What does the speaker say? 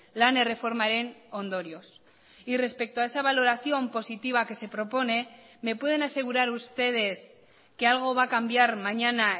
lan erreformaren ondorioz y respecto a esa valoración positiva que se propone me pueden asegurar ustedes que algo va a cambiar mañana